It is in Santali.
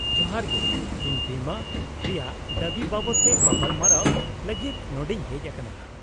-ᱡᱚᱦᱟᱨ ᱜᱮ, ᱤᱧ ᱵᱤᱢᱟᱹ ᱨᱮᱭᱟᱜ ᱫᱟᱵᱤ ᱵᱟᱵᱚᱫᱛᱮ ᱜᱟᱯᱟᱞᱢᱟᱨᱟᱣ ᱞᱟᱹᱜᱤᱫ ᱱᱚᱰᱮᱧ ᱦᱮᱡ ᱟᱠᱟᱱᱟ ᱾